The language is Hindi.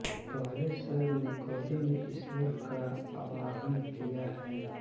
पहले सर्ग में कवि ने ईश्वर का आवाहन किया है